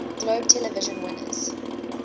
globe television winners